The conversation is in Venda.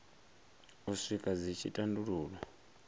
u swika dzi tshi tandululwa